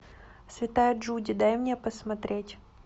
святая джуди дай мне посмотреть